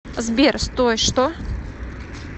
сбер стой что